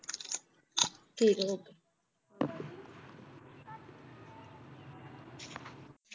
ਠੀਕ ਆ okay